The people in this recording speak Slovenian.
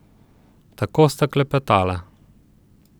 Tako sta klepetala.